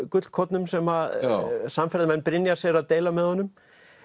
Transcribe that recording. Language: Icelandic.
gullkornum sem að samferðamenn Brynjars eru að deila með honum